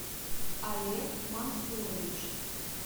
олег мансурович